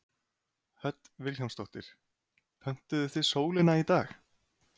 Hödd Vilhjálmsdóttir: Pöntuðuð þið sólina í dag?